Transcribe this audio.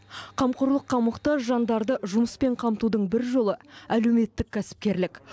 қамқорлыққа мұқтаж жандарды жұмыспен қамтудың бір жолы әлеуметтік кәсіпкерлік